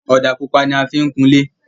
Ọ̀dà pupa ní àfi kùn ilé